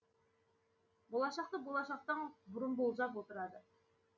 болашақты болашақтан бұрын болжап отырады